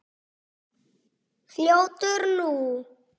Fljótur nú!